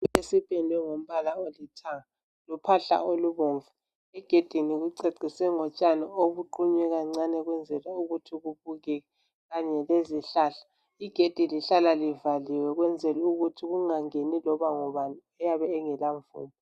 Esipendwe ngombala olithanga lophahla olubomvu. Egedini kuceciswe ngotshani obuqunywe kancane ukwenzela ukuthi kubukeke kanye lezihlahla .Igedi lihlala livaliwe ukwenzelukuthi kungangeni iloba ngubani oyabe engela mvumo.